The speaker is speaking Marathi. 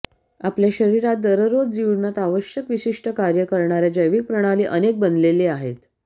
आपल्या शरीरात दररोज जीवनात आवश्यक विशिष्ट कार्ये करणार्या जैविक प्रणाली अनेक बनलेले आहेत